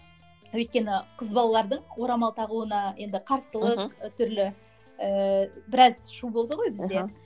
өйткені қыз балалардың орамал тағуына енді қарсылық мхм түрлі ііі біраз шу болды ғой бізде мхм